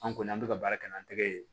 An kɔni an bɛ ka baara kɛ n'an tɛgɛ ye